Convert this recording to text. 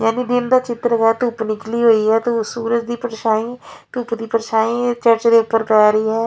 ਯਾਨੀ ਦਿਨ ਦਾ ਚਿਤ੍ਰ ਹੈ ਧੁੱਪ ਨਿਕਲੀ ਹੋਈ ਹੈ ਤੇ ਉਹ ਸੂਰਜ ਦੀ ਪਰਛਾਈ ਧੁੱਪ ਦੀ ਪਰਛਾਈ ਚਰਚ ਦੇ ਊਪਰ ਪਏ ਰਹੀ ਹੈ।